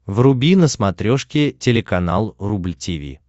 вруби на смотрешке телеканал рубль ти ви